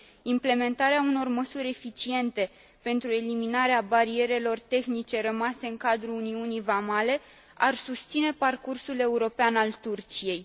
Implementarea unor măsuri eficiente pentru eliminarea barierelor tehnice rămase în cadrul uniunii vamale ar susține parcursul european al Turciei.